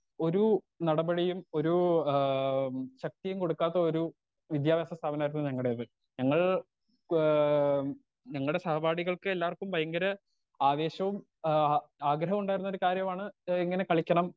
Speaker 2 ഒരു നടപടിയും ഒരു ആ ശക്തിയും കൊടുക്കാത്ത ഒരു വിദ്യാഭ്യാസ സ്ഥാപനായിരുന്നു ഞങ്ങടേത് ഞങ്ങൾ ഏ ഞങ്ങടെ സഹപാഠികൾക്കെല്ലാർക്കും ഭയങ്കര ആവേശവും ആ ആഗ്രഹോണ്ടായിരുന്നൊരു കാര്യമാണ് ഏ എങ്ങനെ കളിക്കണം.